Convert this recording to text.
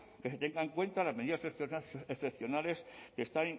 que se tengan en cuenta las medidas excepcionales que están